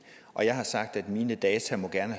og jeg har sagt at mine data gerne